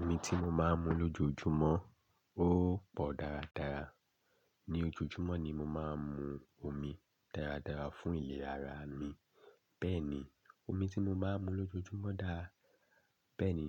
Omi tí mo máa ń mu lójoojúmọ́ ó pọ̀ dáradára. Ni ojojúmọ́ ni mo máa ń mu omi dáradára fún ìlera ara mi. Bẹ́ẹ̀ni, omi tí mo máa ń mu lójoojúmọ́ dára. Bẹ́ẹ̀ni